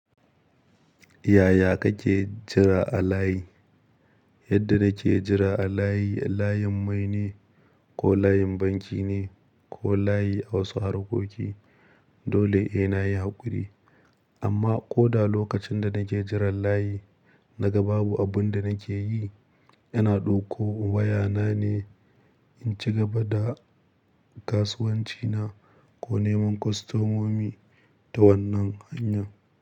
Yaya kake jira a layi? Yadda nake jira a layi, layin mai ne ko layin banki ne ko layi a wasu harkoki, dole ehh na yi haƙuri. Amma ko da lokacin da nake jiran layi naga babu abun da nake yi, ina ɗauko wayana ne in ci gaba da kasuwancina ko neman kwastomomi ta wannan hanya.